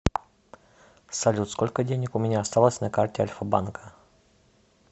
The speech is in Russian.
салют сколько денег у меня осталось на карте альфа банка